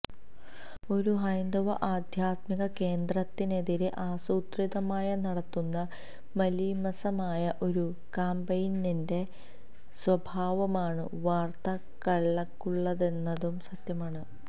ഒരു ഹൈന്ദവ ആദ്ധ്യാത്മിക കേന്ദ്രത്തിനെതിരെ ആസൂത്രിതമായി നടത്തുന്ന മലീമസമായ ഒരു കാമ്പയിനിന്റെ സ്വഭാവമാണ് വാര്ത്തകള്ക്കുള്ളതെന്നതും സത്യമാണ്